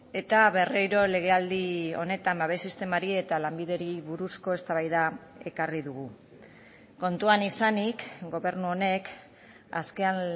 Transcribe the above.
eta berriro legealdi honetan babes sistemari eta lanbideri buruzko eztabaida ekarri dugu kontuan izanik gobernu honek azken